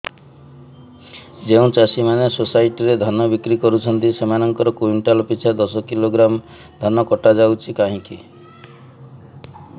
ଯେଉଁ ଚାଷୀ ମାନେ ସୋସାଇଟି ରେ ଧାନ ବିକ୍ରି କରୁଛନ୍ତି ସେମାନଙ୍କର କୁଇଣ୍ଟାଲ ପିଛା ଦଶ କିଲୋଗ୍ରାମ ଧାନ କଟା ଯାଉଛି କାହିଁକି